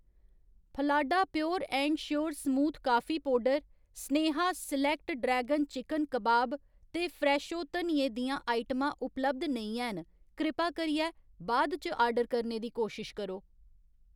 फलाडा pure and sure smooth coffee powder, Sneha select dragon chicken कबाब ते Fresho धनिये दियां आइटमां उपलब्ध नेईं हैन, कृपा करियै बाद इच आर्डर करने दी कोशश करो